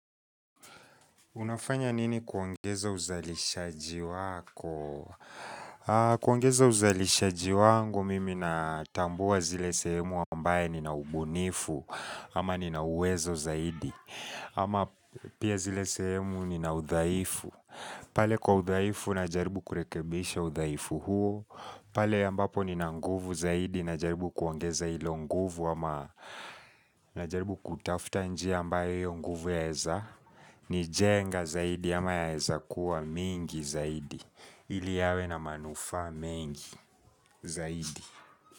Unafanya nini kuongeza uzalishaji wako? Kuongeza uzalishaji wangu mimi natambua zile sehemu ambaye nina ubunifu ama nina uwezo zaidi ama pia zile sehemu nina udhaifu pale kwa udhaifu najaribu kurekebisha udhaifu huo pale ambapo nina nguvu zaidi najaribu kuongeza hilo nguvu ama najaribu kutafuta njia ambayo hiyo nguvu yaeza nijenga zaidi ama yaeza kuwa mingi zaidi ili yawe na manufaa mengi zaidi.